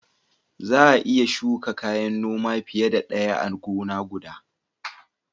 Za a iya shuka kayan noma fiye da ɗaya a gona guda.